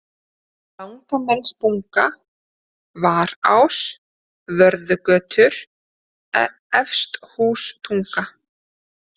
Langamelsbunga, Varás, Vörðugötur, Efsthústunga